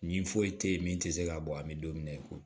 Nin foyi te yen min te se ka bɔ an mi don min na i ko